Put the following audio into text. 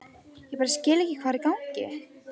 Ég bara skil ekki hvað er í gangi.